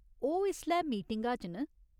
ओह् इसलै मीटिंगा च न।